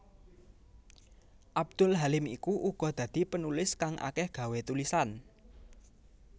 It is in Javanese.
Abdul Halim iku uga dadi penulis kang akeh gawé tulisan